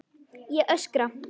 Ég öskra.